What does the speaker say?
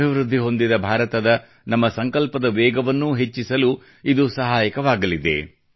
ಅಭಿವೃದ್ಧಿ ಹೊಂದಿದ ಭಾರತದ ನಮ್ಮ ಸಂಕಲ್ಪದ ವೇಗವನ್ನು ಹೆಚ್ಚಿಸಲೂ ಇದು ಸಹಾಯಕರವಾಗಲಿದೆ